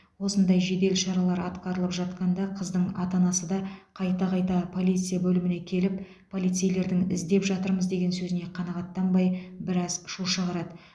осындай жедел шаралар атқарылып жатқанда қыздың ата анасы да қайта қайта полиция бөліміне келіп полицейлердің іздеп жатырмыз деген сөзіне қанағаттанбай біраз шу шығарады